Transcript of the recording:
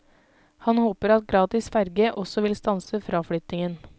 Han håper at gratis ferge også vil stanse fraflyttingen.